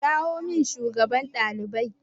Kirawo min shugaban ɗaliban!